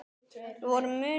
Við vorum mun agaðri.